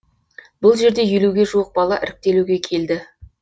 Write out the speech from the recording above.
бұл жерде елуге жуық бала іріктелуге келді